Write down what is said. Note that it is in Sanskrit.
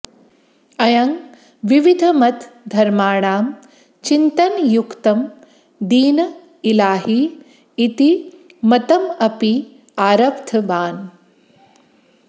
अयं विविधमतधर्माणां चिन्तनयुक्तं दीन् इलाही इति मतमपि आरब्धवान्